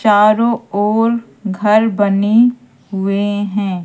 चारों ओर घर बने हुए हैं।